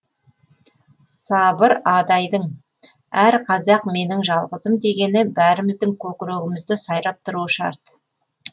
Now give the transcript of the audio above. сабыр адайдың әр қазақ менің жалғызым дегені бәріміздің көкірегімізде сайрап тұруы шарт